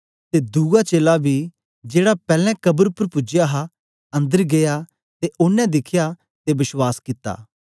ते दुआ चेला बी जेड़ा पैलैं कब्र उपर पूज्या हा अंदर गीया ते ओनें दिखया ते बश्वास कित्ता